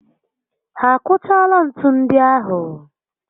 Ha akụchaala ntu ndi ahụ?